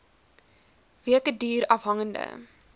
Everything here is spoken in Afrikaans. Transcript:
weke duur afhangende